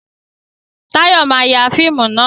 Táyọ̀ ma ya fíìmù náà